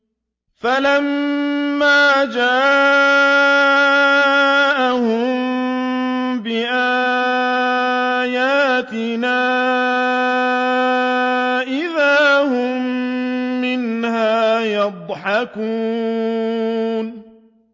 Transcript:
فَلَمَّا جَاءَهُم بِآيَاتِنَا إِذَا هُم مِّنْهَا يَضْحَكُونَ